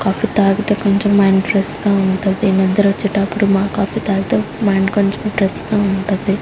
Coffee తాగితే mind కొంచెం fresh గా ఉంటది. నిద్ర వచ్చేదప్పుడు కాఫీ తాగితే మైండ్ ఫ్రెష్ గా ఉంటది.